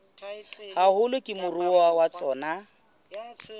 haholo ke moruo wa tsona